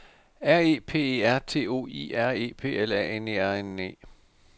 R E P E R T O I R E P L A N E R N E